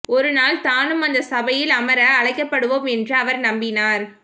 ஒருநாள் தானும் அந்த சபையில் அமர அழைக்கப் படுவோம் என்று அவர் நம்பினார்